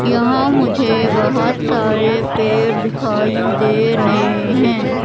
यहाँ मुझे बहोत सारे पेड़ दिखाई दे रहें हैं।